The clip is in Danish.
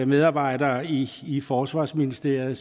medarbejdere i forsvarsministeriet og